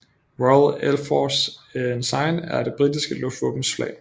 Royal Air Force Ensign er det britiske luftvåbens flag